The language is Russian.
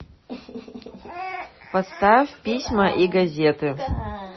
поставь письма и газеты